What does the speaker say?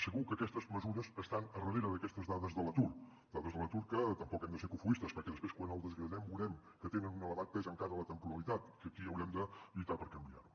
segur que aquestes mesures estan al darrere d’aquestes dades de l’atur dades de l’atur que tampoc hem de ser cofoistes perquè després quan el desgranem veurem que té un elevat pes encara la temporalitat que aquí haurem de lluitar per canviar ho